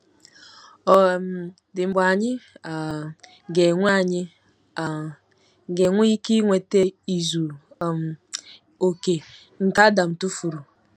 Ọ̀ um dị mgbe anyị um ga-enwe anyị um ga-enwe ike inweta izu um okè nke Adam tụfuru?